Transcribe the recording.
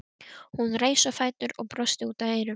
Hún reis á fætur og brosti út að eyrum.